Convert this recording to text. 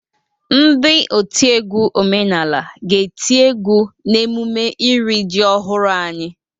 Ndị otiegwu omenala ga-eti egwu n' emume iri ji ọhụrụ anyị.